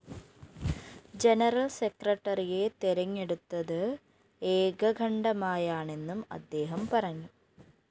general സെക്രട്ടറിയെ തെരഞ്ഞെടുത്തത് ഏകകണ്ഠമായാണെന്നും അദ്ദേഹം പറഞ്ഞു